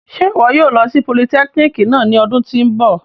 Ṣe iwọ yóò lo si politẹkínikì náa ni ọdun ti n bọ?